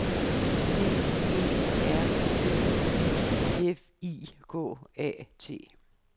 C E R T I F I K A T